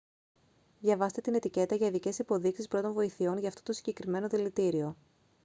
διαβάστε την ετικέτα για ειδικές υποδείξεις πρώτων βοηθειών για αυτό το συγκεκριμένο δηλητήριο